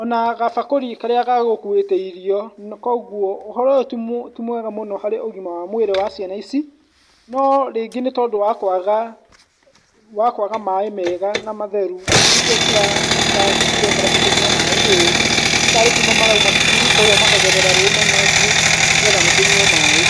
ona gabakũri karĩa gagũkuĩte irio , kũgwo ũhoro ũyũ nĩ mwega harĩ ũgima wa mwĩrĩ wa ciana ici , no rĩngĩ nĩ tondũ wa kwaga, wa kwaga maaĩ mega na matheru nĩkĩo cirekora cikĩnyua maaĩ ũũ ,nĩ tarĩ kuma marauma cukuru kũgwo makagerera rũĩ manyotiĩ nĩgwo makĩyue maaĩ.